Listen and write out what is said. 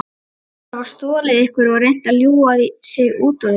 Sagðist hafa stolið einhverju og reynt að ljúga sig út úr því.